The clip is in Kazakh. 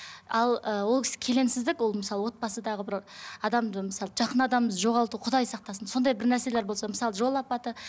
ал ы ол келеңсіздік ол мысалы отбасыдағы бір адамды мысалы жақын адамды жоғалту құдай сақтасын сондай бір нәрселер болса мысалы жол апаты